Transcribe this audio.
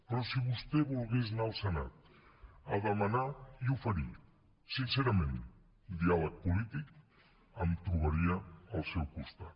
però si vostè volgués anar al senat a demanar i oferir sincerament diàleg polític em trobaria al seu costat